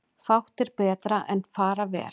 Fátt er betra en fara vel.